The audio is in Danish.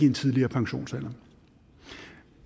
en tidligere pensionsalder